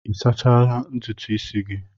Ị sachala ntutu isi gị?